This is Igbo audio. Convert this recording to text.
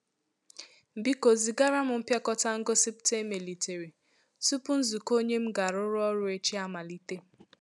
Biko zìgara m mpịakọta ngosipụta e melìtèrè, tupu nzukọ ònye m ga arụ rụ ọrụ echi amalite.